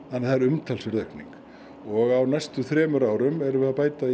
það er umtalsverð aukning og á næstu þremur árum erum við að bæta